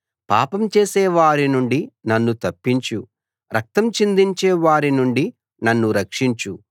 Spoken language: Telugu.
పాపం చేసేవారి నుండి నన్ను తప్పించు రక్తం చిందించే వారి నుండి నన్ను రక్షించు